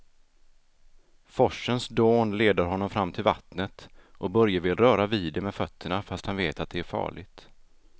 Forsens dån leder honom fram till vattnet och Börje vill röra vid det med fötterna, fast han vet att det är farligt.